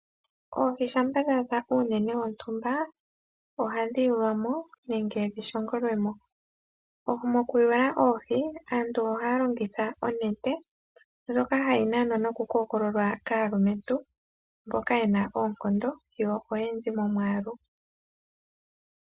Oohi shampa dha adha uunene wontumba ohadhi yulwa mo nenge shingo lwemo. Mokuyula oohi aantu ohaya longitha onete ndjoka hayi nanwa noku kookololwa kaalumentu mboka yena oonkondo yo oyendji mo mwaalu.